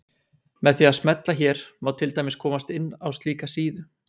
Með því að smella hér má til dæmis komast inn á slíka síðu.